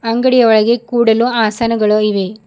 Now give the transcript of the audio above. ಅಂಗಡಿಯ ಒಳಗೆ ಕೂಡಲು ಆಸನಗಳು ಇವೆ.